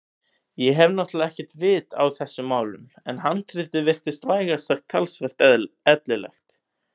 Ég hef náttúrlega ekkert vit á þessum málum en handritið virtist vægast sagt talsvert ellilegt.